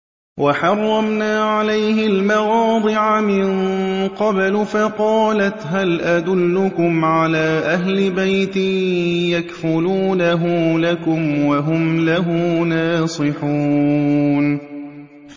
۞ وَحَرَّمْنَا عَلَيْهِ الْمَرَاضِعَ مِن قَبْلُ فَقَالَتْ هَلْ أَدُلُّكُمْ عَلَىٰ أَهْلِ بَيْتٍ يَكْفُلُونَهُ لَكُمْ وَهُمْ لَهُ نَاصِحُونَ